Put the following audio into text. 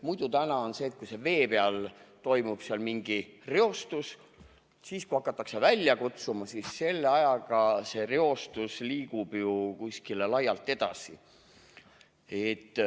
Praegu on nii, et kui mere peal toimub mingi reostus, siis hakatakse abi välja kutsuma, aga vahepealse ajaga reostus liigub ju kuskile laialt edasi.